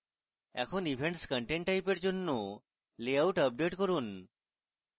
এখন events content type এর জন্য লেআউট আপডেট করুন